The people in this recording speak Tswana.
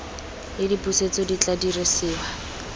le dipusetso di tla dirisiwa